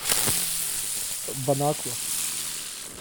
бон аква